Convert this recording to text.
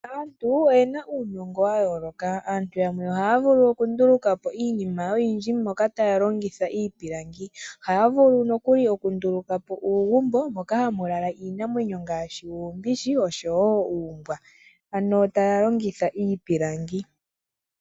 Aantu oyena uunongo wa yooloka. Aantu yamwe ohaya vulu oku ndulukapo iinima oyindji taya longitha iipilangi. Ohaya vulu nokuli oku ndulukapo uugumbo moka hamu lala iinamwenyo ngaashi uumbishi nosho wo uumbwa, ano taya longitha iipilangi.